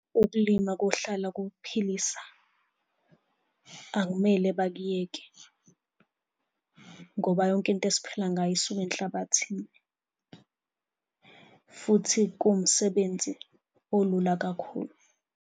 Ukulima kohlala kuphilisa, akumele bakuyeke, ngoba yonke into esiphila ngayo isuka enhlabathini futhi kuwumsebenzi olula kakhulu.